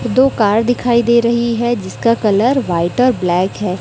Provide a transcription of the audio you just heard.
दो कार दिखाई दे रही है जिसका कलर व्हाइट और ब्लैक है।